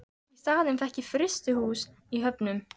Í staðinn fékk ég frystihús í Höfnum.